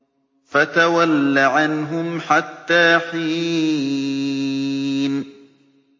فَتَوَلَّ عَنْهُمْ حَتَّىٰ حِينٍ